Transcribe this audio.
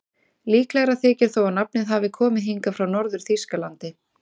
Líklegra þykir þó að nafnið hafi komið hingað frá Norður-Þýskalandi.